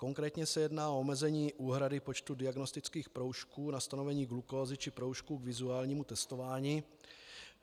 Konkrétně se jedná o omezení úhrady počtu diagnostických proužků na stanovení glukózy či proužků k vizuálnímu testování.